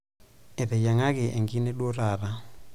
Eteyiang'aki enkine duo taata.